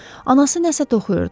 Anası nəsə toxuyurdu.